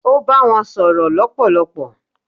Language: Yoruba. ó bá wọn sọ̀rọ̀ lọpọlọpọ